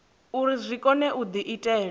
uri zwi kone u diitela